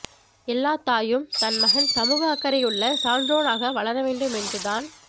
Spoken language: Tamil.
எல்லாத்தாயும் தன் மகன் சமூக அக்கறையுள்ள சான்றோனாக வளர வேண்டும் என்று தான்